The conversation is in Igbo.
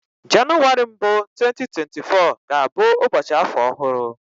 Jenụwarị mbụ 2024 ga-abụ ụbọchị afọ ọhụrụ